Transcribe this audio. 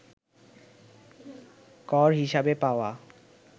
কর হিসেবে পাওয়া